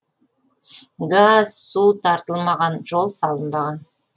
газ су тартылмаған жол салынбаған